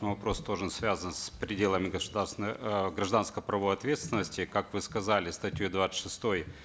мой вопрос тоже связан с пределами государственной э гражданско правовой ответственности как вы сказали статьей двадцать шестой